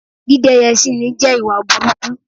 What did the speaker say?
Dídẹ́yẹ̀ síni jẹ́ ìwà burúkú